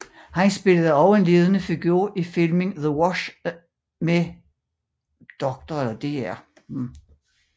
Han spillede også en ledende figur i filmen The Wash med Dr